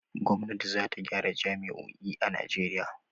Gwamnati za ta gyara jami'o'i a Najeriya.